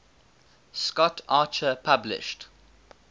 scott archer published